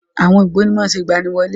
Àwọn ògbóni má ń ṣe ìgbaniwọlé.